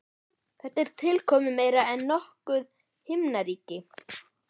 Þetta er tilkomumeira en nokkuð himnaríki.